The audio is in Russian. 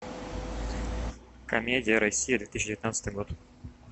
комедия россия две тысячи девятнадцатый год